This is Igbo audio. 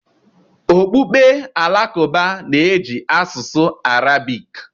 okpukpe Alakụba na-eji asụsụ Arabik.